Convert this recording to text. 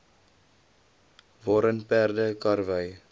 waarin perde karwy